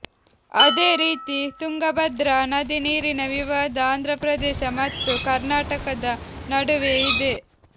ಅದೇ ರೀತಿ ತುಂಗಭದ್ರ ನದಿ ನೀರಿನ ವಿವಾದ ಆಂಧ್ರಪ್ರದೇಶ ಮತ್ತು ಕರ್ನಾಟಕದ ನಡುವೆ ಇದೆ